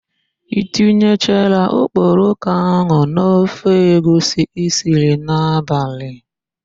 I tinyechara okporoko ahụ n'ofe egwusi i siri n'abalị?